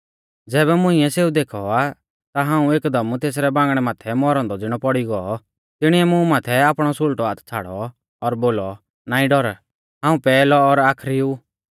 ज़ैबै मुंइऐ सेऊ देखौ ता हाऊं एकदम तेसरै बांगणै माथै मौरौ औन्दौ ज़िणौ पौड़ी गौ तिणीऐ मुं माथै आपणौ सुल़टौ हाथ छ़ाड़ौ और बोलौ नाईं डौर हाऊं पैहलौ और आखरी ऊ